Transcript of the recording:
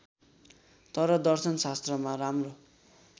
तर दर्शनशास्त्रमा राम्रो